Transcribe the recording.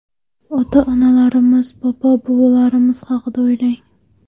Ota-onalarimiz, bobo-buvilarimiz haqida o‘ylang.